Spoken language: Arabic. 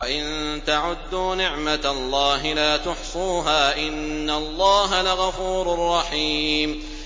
وَإِن تَعُدُّوا نِعْمَةَ اللَّهِ لَا تُحْصُوهَا ۗ إِنَّ اللَّهَ لَغَفُورٌ رَّحِيمٌ